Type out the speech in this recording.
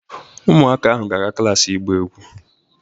Ụmụaka ahụ ga-aga klas ịgba egwu.